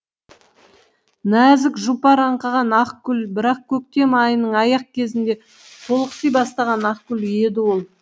нәзік жұпар аңқыған ақ гүл бірақ көктем айының аяқ кезінде толықси бастаған ақ гүл еді ол